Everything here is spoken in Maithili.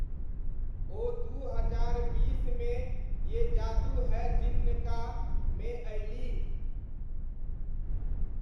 ओ दू हजार बीसमे 'ये जादू है जिन्न का' मे अयलीह।